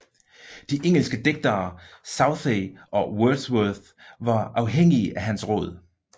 De engelske digtere Southey og Wordsworth var afhængige af hans råd